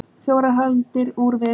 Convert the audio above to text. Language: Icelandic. Fjórar hagldir úr við.